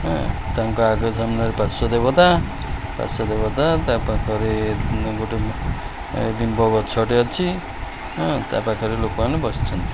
ଉଁ ତାଙ୍କ ଆଗ ସାମ୍ନା ରେ ପାର୍ଶ୍ୱ ଦେବତା ପାର୍ଶ୍ୱ ଦେବତା ତା ପାଖରେ ଉଁ ଗୋଟେ ଏଁ ଲିମ୍ୱ ଗଛ ଟେ ଅଛି ଉଁ ତା ପାଖରେ ଲୋକ ମାନେ ବସିଛନ୍ତି।